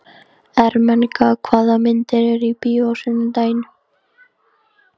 Ermenga, hvaða myndir eru í bíó á sunnudaginn?